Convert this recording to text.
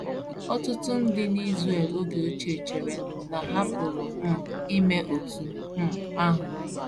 Ọtụtụ ndị n’Israel oge ochie chere na ha pụrụ um ime otú um ahụ.